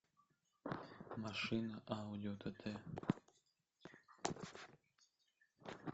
машина ауди тт